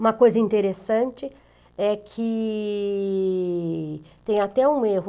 Uma coisa interessante é que tem até um erro.